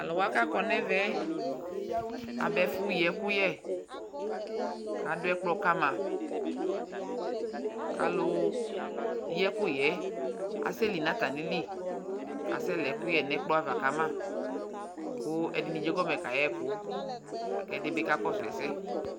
Talʊwa kakɔ ɲɛvɛ aba ɛƒʊ yi ɛkʊyɛ adʊ ɛgblɔ kama alʊyɩ ɛƙʊyɛ asɛli ɲatamilɩ asɛlɛkʊƴɛ ɲɛ gblɔ ava kama kʊ ɛdɩɲi ɛjegɔmɛ kaƴɛkʊ ɛdibi kakɔsʊ ɛsɛ